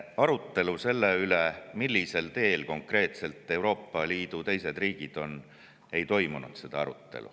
Arutelu selle üle, millisel teel konkreetselt teised Euroopa Liidu riigid on, ei toimunud.